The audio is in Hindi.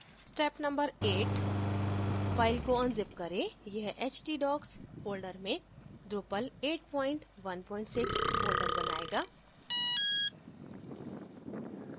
step no 8 : फाइल को unzip करें यह htdocs फोल्डर में drupal816 फोल्डर बनायेगा